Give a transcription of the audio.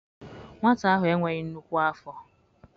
Nwata ahụ e nweghị nnukwu afọ.